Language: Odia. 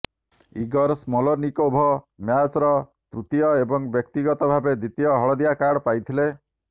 ଇଗୋର ସ୍ମୋଲନିକୋଭ ମ୍ୟାଚ୍ର ତୃତୀୟ ଏବଂ ବ୍ୟକ୍ତିଗତ ଭାବେ ଦ୍ୱିତୀୟ ହଳଦିଆ କାର୍ଡ ପାଇଥିଲେ